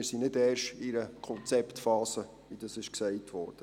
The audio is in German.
Wir befinden uns also nicht, wie gesagt wurde, erst in einer Konzeptphase.